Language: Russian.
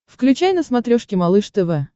включай на смотрешке малыш тв